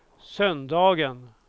söndagen